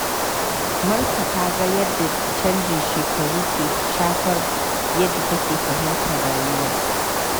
Marka ta ga yadda canjin shekaru ke shafar yadda take fahimtar rayuwa.